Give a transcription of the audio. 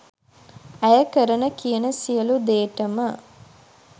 ඇය කරන කියන සියලු දේටම